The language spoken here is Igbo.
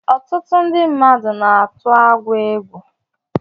Ọtụtụ mmadụ na-atụ agwọ egwu